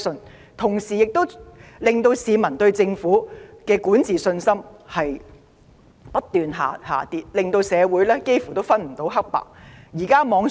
與此同時，市民對政府的管治信心不斷下跌，社會幾乎分不清黑白。